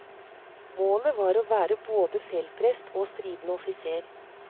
Målet var å være både feltprest og stridende offiser.